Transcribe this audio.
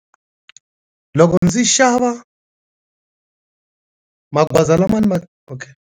Loko ndzi xava magoza lama ma .